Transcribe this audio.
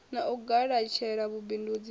na u galatshela vhubindundzi ha